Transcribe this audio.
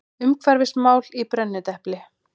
Umhverfismál í brennidepli.